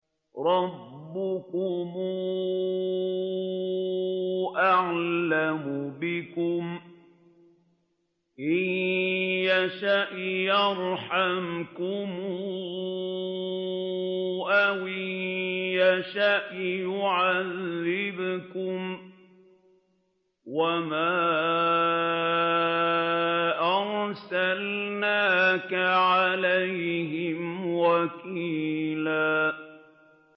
رَّبُّكُمْ أَعْلَمُ بِكُمْ ۖ إِن يَشَأْ يَرْحَمْكُمْ أَوْ إِن يَشَأْ يُعَذِّبْكُمْ ۚ وَمَا أَرْسَلْنَاكَ عَلَيْهِمْ وَكِيلًا